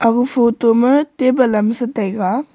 aga photo ma table am sataiga.